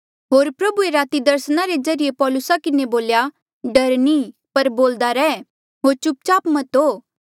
होर प्रभुए राती दर्सना रे ज्रीए पौलुसा किन्हें बोल्या डर नी पर बोल्दा रैह होर चुप चाप मत हो